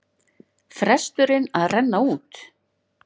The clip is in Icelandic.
Fresturinn að renna út